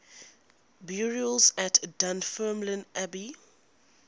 burials at dunfermline abbey